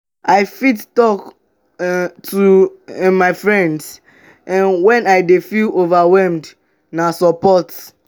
i fit talk um to um my friends um when i dey feel overwhelmed; na support.